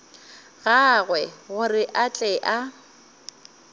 gagwe gore a tle a